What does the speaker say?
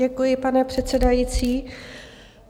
Děkuji, pane předsedající.